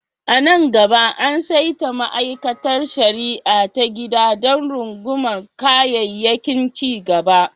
A nan gaba, an saita ma'aikatar shari'a ta gida don rungumar kayayyakin cigaba.